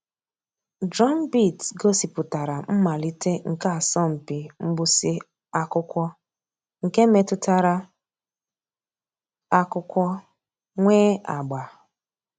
Drumbeat gọ̀sìpùtárà mmàlítè nke àsọ̀mpị mgbụsị̀ ákụ̀kwò nke mètụtara àkụ̀kwò nwee àgbà.